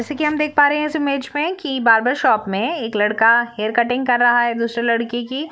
जैसे की हम देख पा रहे है इस मैच मे की बार्बर शॉप मे एक लड़का हेयर कटिंग कर रहा है दूसरे लड़के की।